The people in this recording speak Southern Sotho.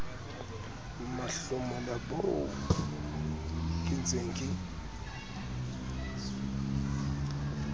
mahlomola boo ke ntseng ke